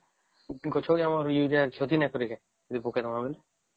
ଗଛେ କେ ଆମର ୟୁରିଆ କ୍ଷତି ନାଇଁ କରିବେ ଯଦି ପକେଇଦେବା ବୋଇଲେ